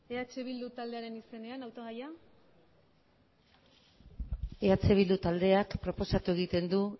eh bildu taldearen izenean hautagaia eh bildu taldeak proposatu egiten du